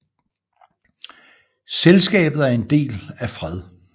Selskabet er en del af Fred